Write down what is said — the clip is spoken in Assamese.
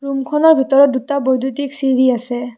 খনৰ ভিতৰত দুটা বৈদ্যুতিক চিৰি আছে।